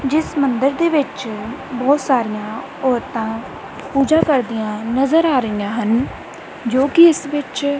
ਜਿੱਸ ਮੰਦਰ ਦੇ ਵਿੱਚ ਬੋਹੁਤ ਸਾਰੀਆਂ ਔਰਤਾਂ ਪੂਜਾ ਕਰਦਿਆਂ ਨਜ਼ਰ ਆ ਰਹੀਆਂ ਹਨ ਜੋਕਿ ਇਸ ਵਿੱਚ--